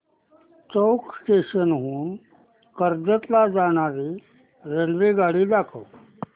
चौक station हून कर्जत ला जाणारी रेल्वेगाडी दाखव